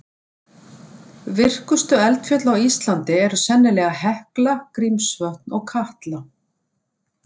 Virkustu eldfjöll á Íslandi eru sennilega Hekla, Grímsvötn og Katla.